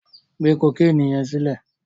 Gbé kokéènì yẹn sílẹ̀.